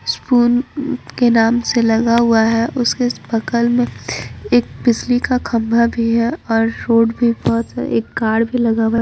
Spoon के नाम से लगा हुआ हैं उसके बगल में एक बिजली का खंभा भी हैं और रोड भी बहोत सारा एक कार भी लगा हुआ हैं।